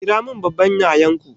Kiramin babban yayanku